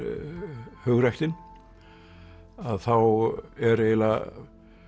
hugræktin að þá er eiginlega